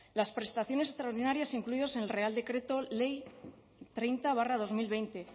las prestaciones extraordinarias incluidas en el real decreto ley treinta barra dos mil veinte